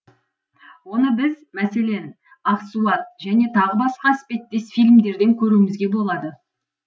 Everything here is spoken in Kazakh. оны біз мәселен ақсуат және тағы басқа іспеттес фильмерден көруімізге болады